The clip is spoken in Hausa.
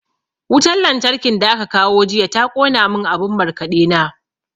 Wutan lantarkin da aka kawo jiya ta ƙona mun abun markaɗe na.